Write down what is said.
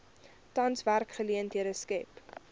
tans werksgeleenthede skep